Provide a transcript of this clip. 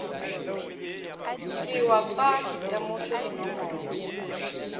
ke wa fa ditemošo dinomoro